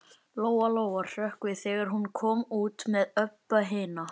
Lóa Lóa hrökk við þegar hún kom út með Öbbu hina.